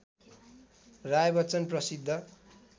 राय बच्चन प्रसिद्ध